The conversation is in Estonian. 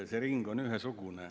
See ring on ühesugune.